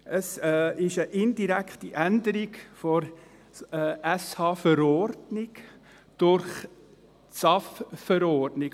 Es ist eine indirekte Änderung der Verordnung über die öffentliche Sozialhilfe (Sozialhilfever ordnung, SHV) durch die SAFG-Verordnung.